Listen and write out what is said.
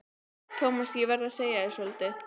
Thomas, ég verð að segja þér svolítið.